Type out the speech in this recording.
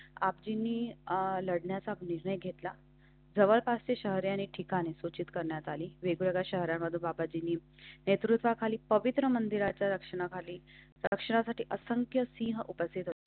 आपणी लढण्याचा निर्णय घेतला. जवळपासची शहरे आणि ठिकाणे सूचित करण्यात आली. वेगवेगळ्या शहरांमधून बाबाजी ते तुमचा खाली पवित्र मंदिराच्या रक्षणाखाली रक्षणासाठी असंख्य सिंह उपस्थित होते.